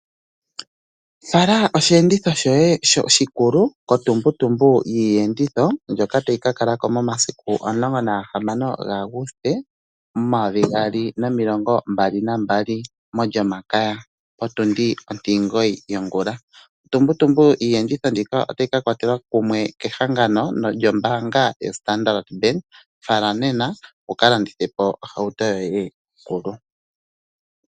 Fala oshi enditho shoye oshikulu ko tumbutumbu yiiyenditho mbyoka tayi kakalako momasiku omulongo na ga hamano ga Aguste omayovi gaali nomilongo mbali nambali mo lyomakaya potundi ontimulongo yongula. Otumbutumbu yiiyenditho ndjika otayi ka kwatelwa komeho kehangano lyo mbaanga yo Standard fala nena wu kalandithe ohauto yoye kuyo.